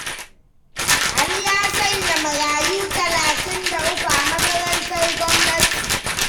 Ali ya sanya marayu talatin da uku a makarantar gwamnati.